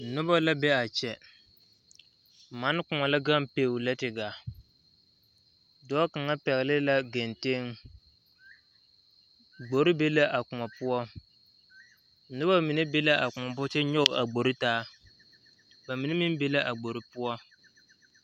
Noba la be a kyɛ mane kõɔ la gaŋ pɛo lɛ te gaa dɔɔ kaŋa pɛgle la gɛnteŋ gbori be la a kõɔ poɔ noba mine be la a kõɔ kyɛ nyɔge a gbori taa ba mine meŋ be la a gbori poɔ.